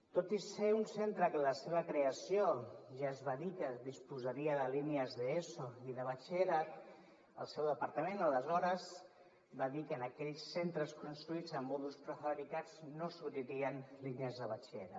tot i ser un centre que en la seva creació ja es va dir que disposaria de línies d’eso i de batxillerat el seu departament aleshores va dir que en aquells centres construïts amb mòduls prefabricats no s’obririen línies de batxillerat